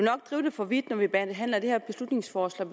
for vidt når vi behandler det her beslutningsforslag